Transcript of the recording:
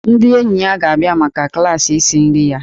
Ndị enyi ya ga-abịa maka klaasị isi nri ya.